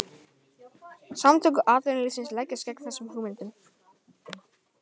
Samtök atvinnulífsins leggjast gegn þessum hugmyndum